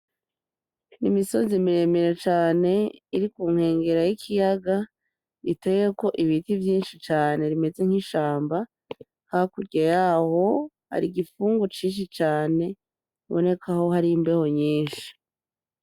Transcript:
N'imisozi miremire cane irikunkwengera y'ikiyaga iteyeko ibiti mvyinshi cane rimeze nki shamba, hakurya yaho hari igifungu cinshi cane. Bonekaho hari imbeho nyinshi.